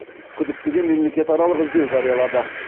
күдіктіге мемлекетаралық іздеу жариялады